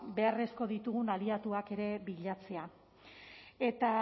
ba beharrezko ditugun aliatuak ere bilatzea eta